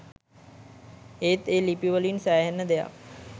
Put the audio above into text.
ඒත් ඒ ලිපිවලින් සෑහෙන්න දෙයක්